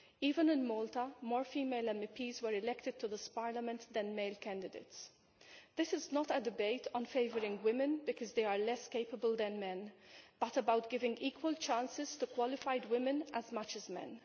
Even in Malta more female MEPs were elected to this Parliament than male candidates. This is not a debate on favouring women because they are less capable than men, but about giving equal chances to qualified women as much as to men.